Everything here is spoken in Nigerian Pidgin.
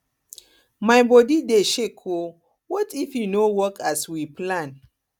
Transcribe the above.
my body dey shake oo what if e no work as we plan